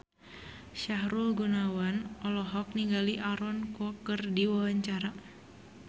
Sahrul Gunawan olohok ningali Aaron Kwok keur diwawancara